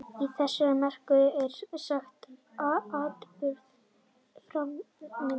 Í þessari merkingu er saga atburðarás, framvinda mannlegra athafna.